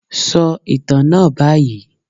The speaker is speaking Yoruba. Sọ ìtàn náà báyìí.